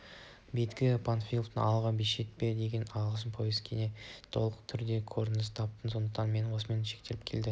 бектің панфиловшылар алғы шепте деген алғашқы повесінде толық түрде көрініс тапты сондықтан мен осымен шектелгім келеді